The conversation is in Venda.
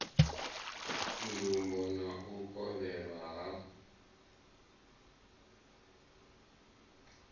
ndumbo na u kovhelwa ha